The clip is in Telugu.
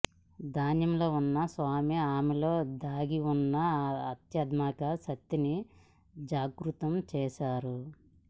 ధ్యానంలో ఉన్న స్వామి ఆమెలో దాగిఉన్న ఆధ్యాత్మిక శక్తిని జాగృతం చేశారు